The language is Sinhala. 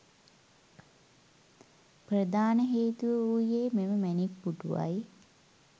ප්‍රධාන හේතුව වූයේ මෙම මැණික් පුටුව යි.